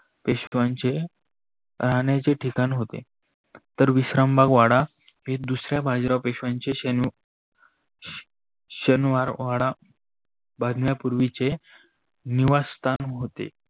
पेशवाचे राहनाचे ठिकान होते. तर विशारामबाग वाडा हे दुसऱ्या बाजिराव पेशवाचे शनिवारवाडा बांधण्या पूर्वीचे निवासस्थान होते.